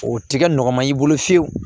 O tɛ kɛ nɔgɔ ma i bolo fiyewu